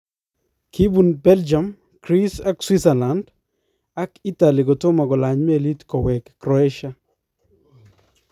Kibuun Belgium, Greece, ak Switzerland ak Italy kotomo kolany meliit kowee Croatia.